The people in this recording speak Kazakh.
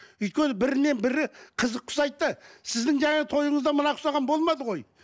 өйткені бірінен бірі қызыққа ұсайды да сіздің жаңағы тойыңызда мына ұқсаған болмады ғой